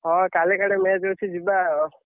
ହଁ କାଲି କାଡେ match ଅଛି ଯିବା ଆଉ।